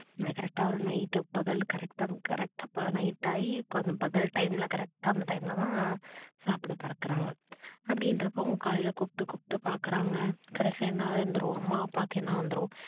correct க்டா ஒரு night பகல் correct டா night டாகி கொஞ்சம் பகல் time ல correct க்டா அந்த time ல தான் சாப்பிட பறக்கறாங்க அப்படின்றப்போ அவங்க காலைல கூப்பிட்டு கூப்பிட்டு பாக்குறாங்க கடைசியா என்ன வந்துரும் அம்மா, அப்பாக்கு என்ன வந்துரும்?